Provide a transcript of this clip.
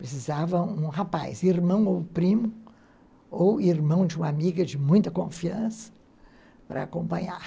Precisava de um rapaz, irmão ou primo, ou irmão de uma amiga de muita confiança, para acompanhar.